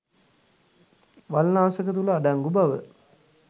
වල්නාශක තුළ අඩංගු බව